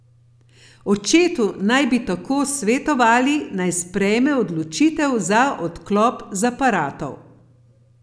Očetu naj bi tako svetovali, naj sprejme odločitev za odklop z aparatov.